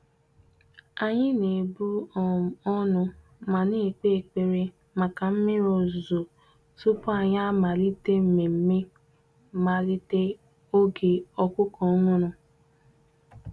Anyị na-ebu um ọnụ ma na-ekpe ekpere maka mmiri ozuzo tupu anyị amalite mmemme mmalite oge ọkụkọ ọhụrụ.